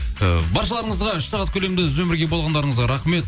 ы баршаларыңызға үш сағат көлемінде бізбен бірге болғандарыңызға рахмет